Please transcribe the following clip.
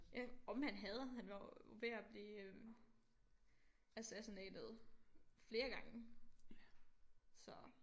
Ja om han havde han var jo ved at blive øh assassinated flere gange så